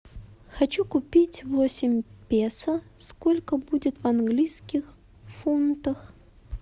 хочу купить восемь песо сколько будет в английских фунтах